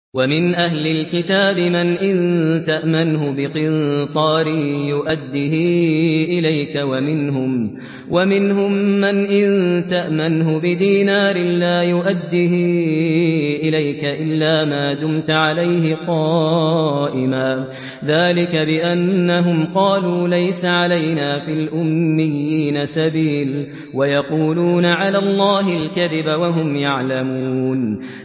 ۞ وَمِنْ أَهْلِ الْكِتَابِ مَنْ إِن تَأْمَنْهُ بِقِنطَارٍ يُؤَدِّهِ إِلَيْكَ وَمِنْهُم مَّنْ إِن تَأْمَنْهُ بِدِينَارٍ لَّا يُؤَدِّهِ إِلَيْكَ إِلَّا مَا دُمْتَ عَلَيْهِ قَائِمًا ۗ ذَٰلِكَ بِأَنَّهُمْ قَالُوا لَيْسَ عَلَيْنَا فِي الْأُمِّيِّينَ سَبِيلٌ وَيَقُولُونَ عَلَى اللَّهِ الْكَذِبَ وَهُمْ يَعْلَمُونَ